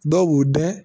Dɔw b'u dɛn